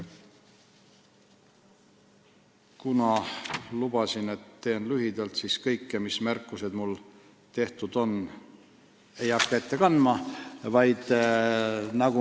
Kuna lubasin, et teen lühidalt, siis ei hakka kõiki oma märkusi ette kandma.